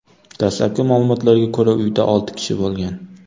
Dastlabki ma’lumotlarga ko‘ra, uyda olti kishi bo‘lgan.